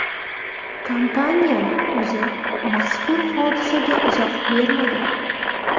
Kompaniyaning o‘zi mazkur hodisaga izoh bermagan.